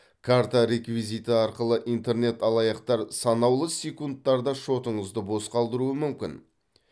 карта реквизиті арқылы интернет алаяқтар санаулы секундтарда шотыңызды бос қалдыруы мүмкін